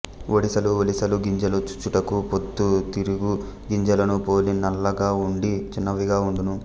ఒడిసలుఒలిసలు గింజలు చూచుటకు పొద్దుతిరుగు గింజలను పోలి నల్లగావుండి చిన్నవిగా వుండును